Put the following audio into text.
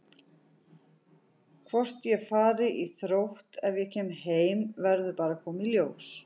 Hvort ég fari í Þrótt ef ég kem heim verður bara að koma í ljós.